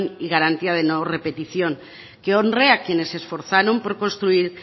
y garantía de no repetición que honre a quienes se esforzaron por construir